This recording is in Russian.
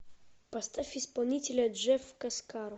поставь исполнителя джеф каскаро